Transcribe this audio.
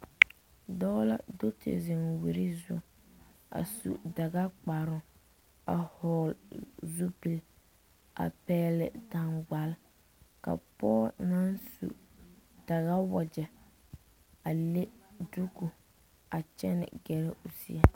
Dɔɔ la do te zeŋ o wure zu. A su daga kparo a vogle zupul a pɛgle dangbal. Ka pɔgɔ na su daga wagye a le duku a kyɛne gɛrɛ o zie.